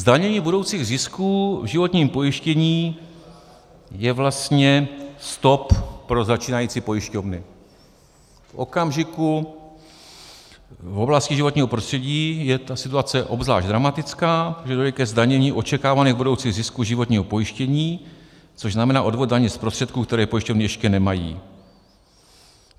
Zdanění budoucích zisků v životním pojištění je vlastně stop pro začínající pojišťovny v okamžiku - v oblasti životního prostředí je ta situace obzvlášť dramatická - kdy dojde ke zdanění očekávaných budoucích zisků životního pojištění, což znamená odvod daně z prostředků, které pojišťovny ještě nemají.